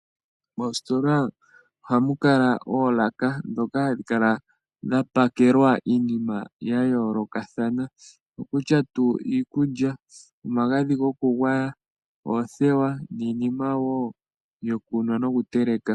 Moositola ohamu kala oolaka ndhoka hadhi kala dhapakelwa iinima ya yoolokathana, owutya tuu iikulya, omagadhi gokugwaya, oothewa, niinima wo yokunwa nokuteleka.